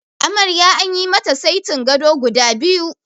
Amarya anyi mata saiti gado guda biyu.